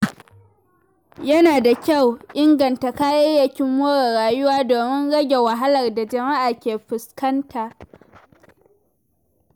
Yana da kyau a inganta kayayyakin more rayuwa domin rage wahalar da jama’a ke fuskanta.